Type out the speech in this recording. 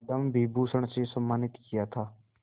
पद्म विभूषण से सम्मानित किया था